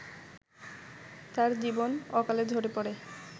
তার জীবন অকালে ঝরে পড়ে